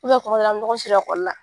kuma dɔ la an bɛ ɲɔgɔn sɔrɔ ekɔli la.